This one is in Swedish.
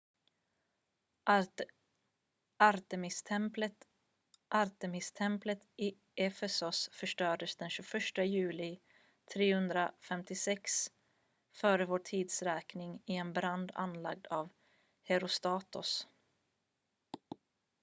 artemistemplet i efesos förstördes den 21 juli 356 f.v.t. i en brand anlagd av herostratos